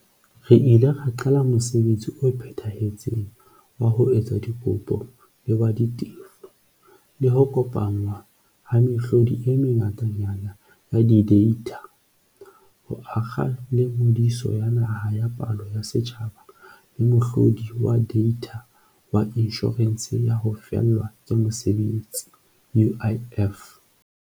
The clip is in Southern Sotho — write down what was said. Re ile ra qala mosebetsi o phethahetseng wa ho etsa dikopo le wa ditefo, le ho kopanngwa ha mehlodi e mengatanyana ya dideitha, ho akga le Ngodiso ya Naha ya Palo ya Setjhaba le mohlo di wa deitha wa Inshorense ya ho Fellwa ke Mosebetsi, UIF.